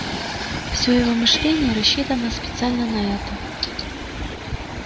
всё его мышление рассчитано специально на это